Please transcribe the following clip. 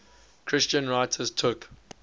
christian writers took